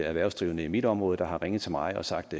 erhvervsdrivende i mit område der har ringet til mig og sagt